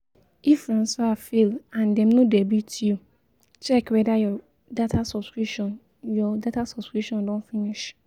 If transfer fail and dem no debit you check whether your data subscription your data subscription don finish